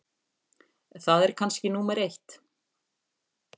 Það er kannski númer eitt.